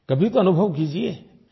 कभी तो अनुभव कीजिये